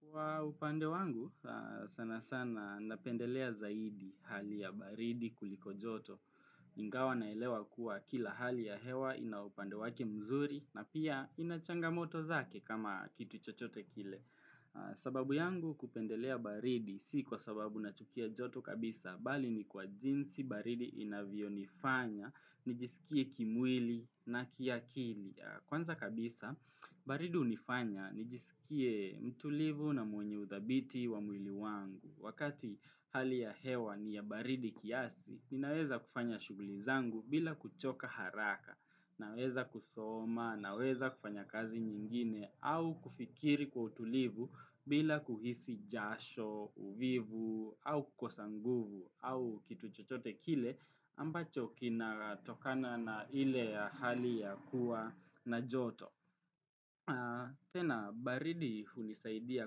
Kwa upande wangu sana sana napendelea zaidi hali ya baridi kuliko joto. Ingawa naelewa kuwa kila hali ya hewa ina upande wake mzuri na pia inachangamoto zake kama kitu chochote kile. Sababu yangu kupendelea baridi si kwa sababu nachukia joto kabisa. Bali ni kwa jinsi baridi inavyonifanya, nijisikie kimwili na kiakili. Kwanza kabisa, baridu unifanya, nijisikie mtulivu na mwenye uthabiti wa mwili wangu. Wakati hali ya hewa ni ya baridi kiasi, ninaweza kufanya shuguli zangu bila kuchoka haraka, naweza kusoma, naweza kufanya kazi nyingine, au kufikiri kwa utulivu bila kuhisi jasho, uvivu, au kukosa nguvu, au kitu chochote kile ambacho kinatokana na ile ya hali ya kuwa na joto. Tena, baridi hunisaidia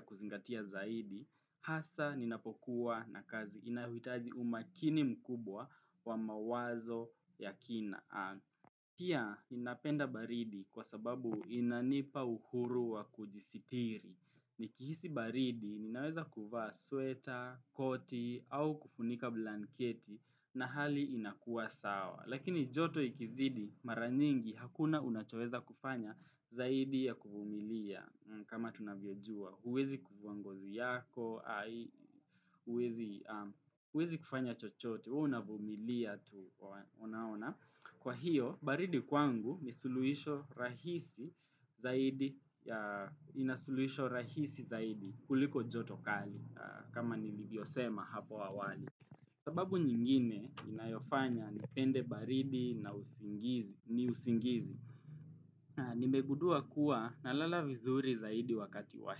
kuzingatia zaidi, hasa ninapokuwa na kazi inaohitaji umakini mkubwa wa mawazo ya kina. Pia inapenda baridi kwa sababu inanipa uhuru wa kujisitiri Nikihisi baridi ninaweza kuvaa sweta, koti au kufunika blanketi na hali inakuwa sawa Lakini joto ikizidi mara nyingi hakuna unachoweza kufanya zaidi ya kuvumilia kama tunavyojua huwezi kuvua ngozi yako, huwezi kufanya chochote, huwa ni unavumilia tu unaona Kwa hiyo, baridi kwangu nisuluhisho rahisi zaidi kuliko jotokali kama nilivyosema hapo awali. Sababu nyingine inayofanya nipende baridi ni usingizi. Nimegudua kuwa nalala vizuri zaidi wakati wa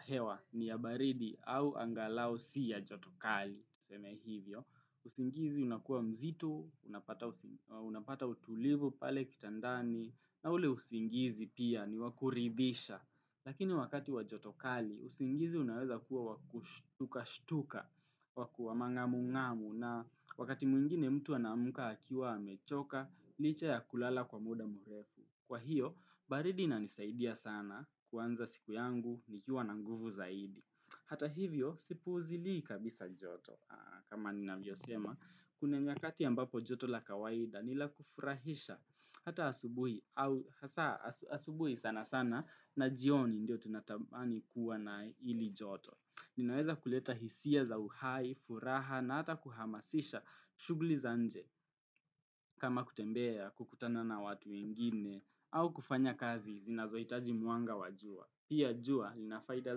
hewa ni ya baridi au angalao si ya jotokali. Tuseme hivyo, usingizi unakuwa mzitu, unapata utulivu pale kitandani, na ule usingizi pia ni wakuridhisha. Lakini wakati wa joto kali, usingizi unaweza kuwa wakushtuka-shtuka, wakuwa mang'amu ng'amu na wakati mwingine mtu anamuka hakiwa hamechoka, licha ya kulala kwa muda murefu. Kwa hiyo, baridi inanisaidia sana kuwanza siku yangu nikiwa na nguvu zaidi. Hata hivyo, sipuzili kabisa joto. Kama ninavyo sema, kuna nyakati ambapo joto la kawaida nila kufurahisha hata asubuhi sana sana na jioni ndio tunatamani kuwa na ili joto Ninaweza kuleta hisia za uhai, furaha na hata kuhamasisha shugli za nje kama kutembea kukutana na watu wengine au kufanya kazi zinazoitaji muanga wa jua Pia jua, linafaida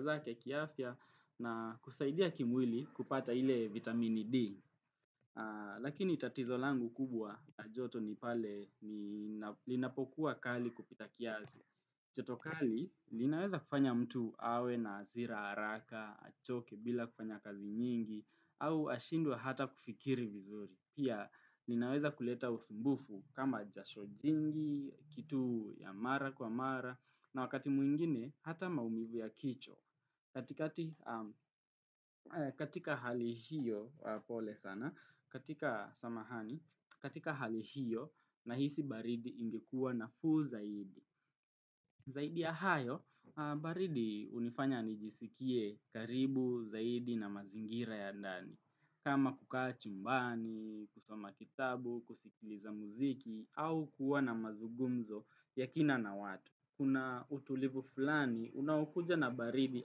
zake kiafya na kusaidia kimwili kupata ile vitamini D. Lakini tatizo langu kubwa na joto ni pale linapokuwa kali kupita kiazi. Choto kali, linaweza kufanya mtu awe na hazira haraka, achoke bila kufanya kazi nyingi, au ashindue hata kufikiri vizuri. Pia, linaweza kuleta usumbufu kama jasho jingi, kitu ya mara kwa mara, na wakati mwingine, hata maumivu ya kichwa. Katika hali hiyo, pole sana, katika samahani, katika hali hiyo, nahisi baridi ingekua nafuu zaidi. Zaidi ya hayo, baridi unifanya nijisikie karibu zaidi na mazingira ya ndani. Kama kukaa chumbani, kusoma kitabu, kusikiliza muziki, au kuwa na mazugumzo yakina na watu. Kuna utulivu fulani, unawokuja na baridi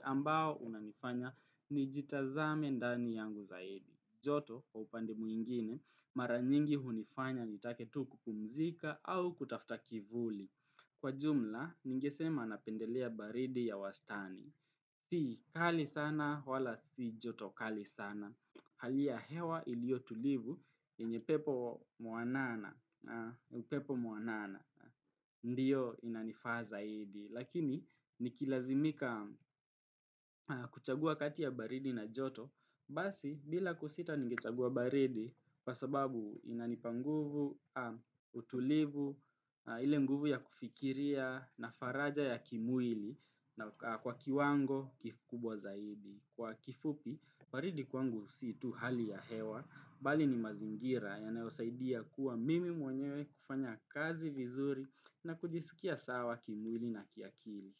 ambao unanifanya nijitazame ndani yangu zaidi. Joto, kwa upande mwingine, mara nyingi hunifanya nitake tu kupumzika au kutafta kivuli. Kwa jumla, ningesema napendelea baridi ya wastani. Si, kali sana wala si joto kali sana. Hali ya hewa ilio tulivu yenye pepo muanana. Upepo muanana Ndiyo inanifaa zaidi Lakini nikilazimika kuchagua kati ya baridi na joto Basi bila kusita nigechagua baridi kwa sababu inanipa nguvu, utulivu, ile nguvu ya kufikiria na faraja ya kimwili na kwa kiwango kikubwa zaidi Kwa kifupi, baridi kwangu si tu hali ya hewa bali ni mazingira yanayosaidia kuwa mimi mwenyewe kufanya kazi vizuri na kujisikia sawa kimwili na kiakili.